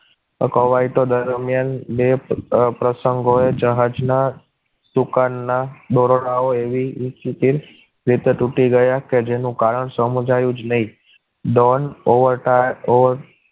ગવાયતા દરમિયાન બે પ્રસંગો એ જહાજના સૂકા ના દોરડાઓ એ એવી રીતે તૂટી ગયા કે જેનું કારણ સમજાયું જ નહીં ડોન ઓવારતા